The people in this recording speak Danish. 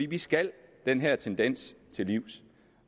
vi skal den her tendens til livs